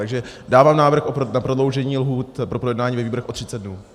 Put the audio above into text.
Takže dávám návrh na prodloužení lhůt pro projednání ve výborech o 30 dnů.